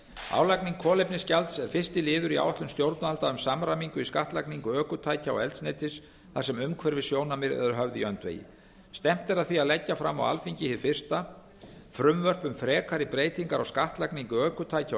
álagning kolefnisgjalds er fyrsti liður í áætlun stjórnvalda um samræmingu í skattlagningu ökutækja og eldsneytis þar sem umhverfissjónarmið eru höfð í öndvegi stefnt er að því á leggja fram á alþingi hið fyrsta frumvörp um frekari breytingar á skattlagningu ökutækja og